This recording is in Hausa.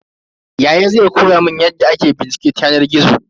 Yaya zai koya mun yadda ake bincike ta yanar gizo.